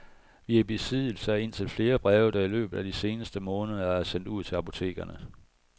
Vi er i besiddelse af indtil flere breve, der i løbet af de seneste måneder er sendt ud til apotekerne.